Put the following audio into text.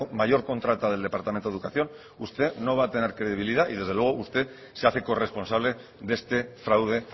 mayor contrata del departamento de educación usted no va a tener credibilidad y desde luego usted se hace corresponsable de este fraude